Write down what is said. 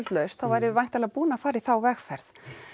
lausn þá værum við væntanlega búin að fara í þá vegferð